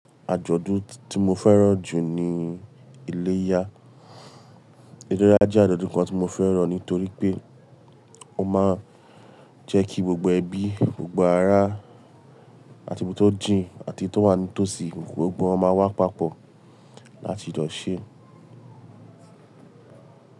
Àjọ̀dún tí mo fẹ́ràn jù ní iléyá. Iléyá jẹ́ àjọ̀dún kan tí mo fẹ́ràn nítorí pé ó máa ń jẹ́ kí gbogbo ẹbí, gbogbo ará àti ibi tó jìn àti tó wà nítòsí, gbogbo wọn máa wá papọ̀ láti jọ ṣé.